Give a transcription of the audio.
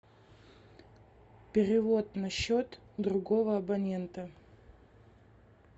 перевод на счет другого абонента